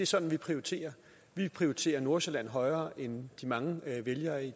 sådan vi prioriterer vi prioriterer nordsjælland højere end de mange vælgere i